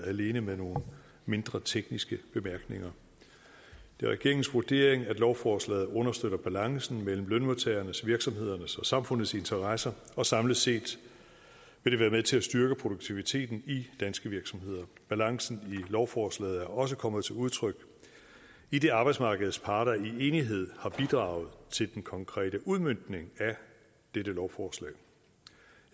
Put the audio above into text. alene med nogle mindre tekniske bemærkninger det er regeringens vurdering at lovforslaget understøtter balancen mellem lønmodtagernes virksomhedernes og samfundets interesser og samlet set vil det være med til at styrke produktiviteten i danske virksomheder balancen i lovforslaget er også kommet til udtryk idet arbejdsmarkedets parter i enighed har bidraget til den konkrete udmøntning af dette lovforslag